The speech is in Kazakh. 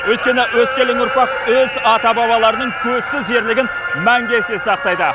өйткені өскелең ұрпақ өз ата бабаларының көзсіз ерлігін мәңгі есте сақтайды